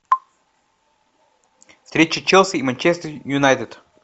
встреча челси и манчестер юнайтед